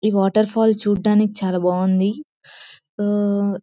ఈ waterfall చూడ్డానికి చాలా బాగుంది. ఓ--